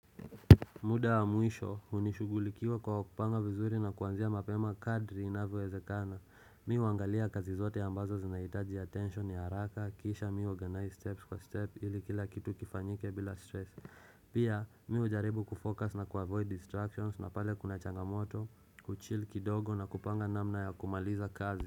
Muda wa mwisho, unishugulikiwa kwa kupanga vizuri na kuanzia mapema kadri inavyowezekana. Mimi huangalia kazi zote ambazo zinahitaji atention ya haraka, kisha mimi huuorganize steps for step ili kila kitu kifanyike bila stress. Pia, mimi hujaribu kufocus na kuavoid distractions na pale kuna changamoto, kuchil kidogo na kupanga namna ya kumaliza kazi.